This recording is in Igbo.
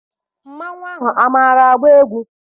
Mmanwụ ahụ amaara agba egwu?